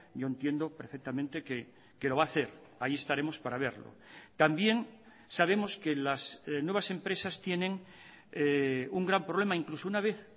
yo entiendo perfectamente que lo va a hacer ahí estaremos para verlo también sabemos que las nuevas empresas tienen un gran problema incluso una vez